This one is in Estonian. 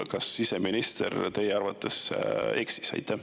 Kas siseminister teie arvates sel juhul eksis?